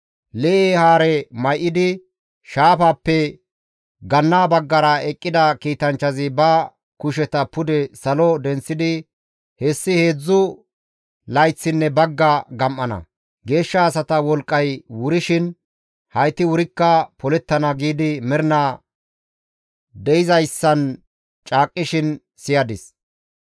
Lee7e haare may7idi shaafappe ganna baggara eqqida kiitanchchazi ba kusheta pude salo denththidi, «Hessi heedzdzu layththinne bagga gam7ana; geeshsha asata wolqqay wurshin hayti wurikka polettana» giidi mernaaas de7izayssan caaqqishin siyadis.